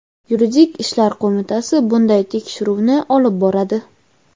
yuridik ishlar qo‘mitasi bunday tekshiruvni olib boradi.